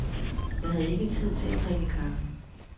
Jeg havde ikke tid til at drikke kaffe.